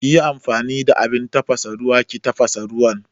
Kiyi amfani da abin tafasa ruwa ki tafasa ruwan